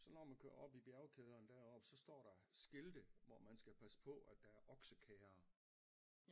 Så når man kører op i bjergkæderne deroppe så står der skilte hvor man skal passe på at der er oksekærrer